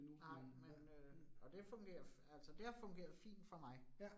Nej, men øh og det fungerer, altså det har fungeret fint for mig